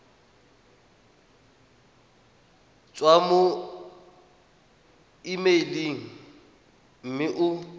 tswa mo emeileng mme o